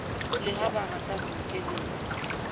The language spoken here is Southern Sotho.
le ha barata ho nkeletsa